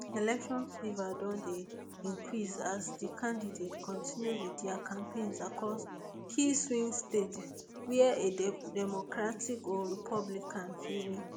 election fever don dey increase as di candidates continue wit dia campaigns across key swing states wia a democratic or republican fit win